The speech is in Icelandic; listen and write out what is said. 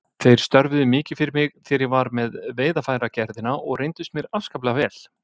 Þeir störfuðu mikið fyrir mig þegar ég var með Veiðarfæragerðina og reyndust mér afskaplega vel.